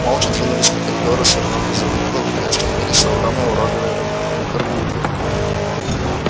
молча двинулись по коридору свернули за угол и остановились у огромной уродливой гаргульи